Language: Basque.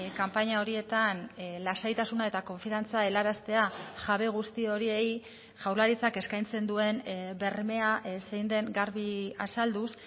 kanpaina horietan lasaitasuna eta konfiantza helaraztea jabe guzti horiei jaurlaritzak eskaintzen duen bermea zein den garbi azalduz